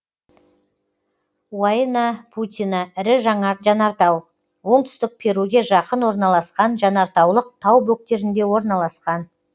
уайнапутина ірі жанартау оңтүстік перуге жақын орналасқан жанартаулық тау бөктерінде орналасқан